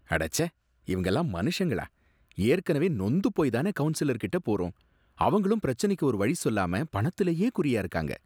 அடச்சே! இவங்கெல்லாம் மனுஷங்களா! ஏற்கனவே நொந்து போய் தானே கவுன்சிலர் கிட்ட போறோம், அவங்களும் பிரச்சனைக்கு ஒரு வழி சொல்லாம பணத்துலயே குறியா இருக்காங்க!